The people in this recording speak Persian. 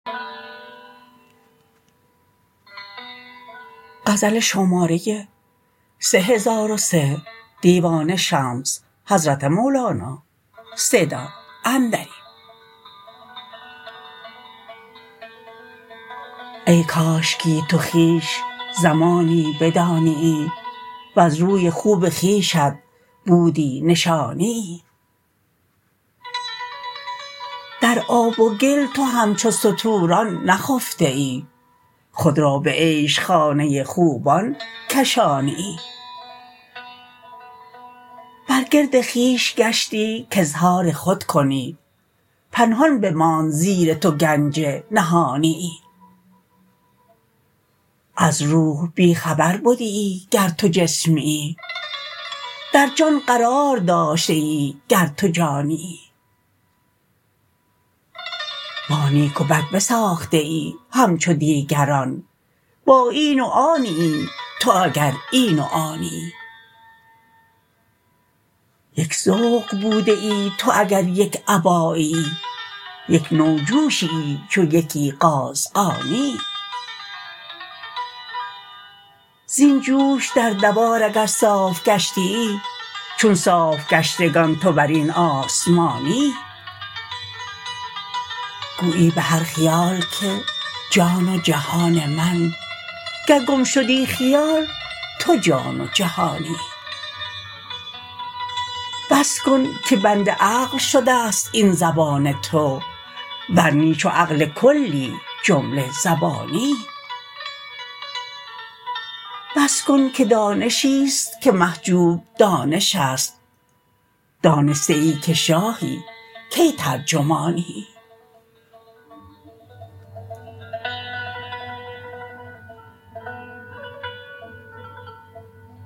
ای کاشکی تو خویش زمانی بدانیی وز روی خوب خویشت بودی نشانیی در آب و گل تو همچو ستوران نخفتیی خود را به عیش خانه خوبان کشانیی بر گرد خویش گشتی کاظهار خود کنی پنهان بماند زیر تو گنج نهانیی از روح بی خبر بدیی گر تو جسمیی در جان قرار داشتیی گر تو جانیی با نیک و بد بساختیی همچو دیگران با این و آنیی تو اگر این و آنیی یک ذوق بودیی تو اگر یک اباییی یک نوع جوشییی چو یکی قازغانیی زین جوش در دوار اگر صاف گشتیی چون صاف گشتگان تو بر این آسمانیی گویی به هر خیال که جان و جهان من گر گم شدی خیال تو جان و جهانیی بس کن که بند عقل شدست این زبان تو ور نی چو عقل کلی جمله زبانیی بس کن که دانش ست که محجوب دانشست دانستیی که شاهی کی ترجمانیی